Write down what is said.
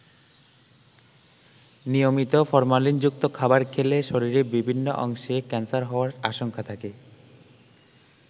নিয়মিত ফরমালিনযুক্ত খাবার খেলে শরীরের বিভিন্ন অংশে ক্যান্সার হওয়ার আশঙ্কা থাকে।